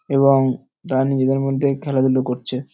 এবং দানবিরের মধ্যে খেলাধুলা করছে ।